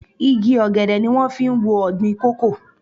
Igi ọ̀gẹ̀dẹ̀ ni wón fi ń wo ọ̀gbìn kòkó.